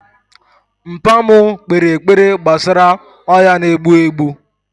Mpa mu kpere ekpere gbasara ọya na egbu egbu